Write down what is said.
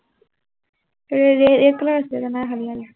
ৰে ৰে red color আছিলে, এতিয়া নাই অহা ইয়ালে।